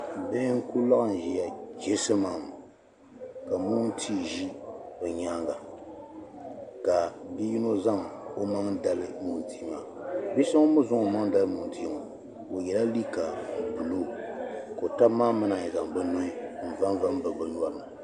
bihi n-ku laɣim ʒia chisimam ka moontia za bɛ nyaaŋga ka bi' yino zaŋ o maŋa dali moontia maa bi' so ŋun mi zaŋ o maŋa dali moontia ŋɔ o yɛla liiga buluu ka o taba maa mi naan yi bɛ nuhi n-vanva bibi bɛ nyɔri ni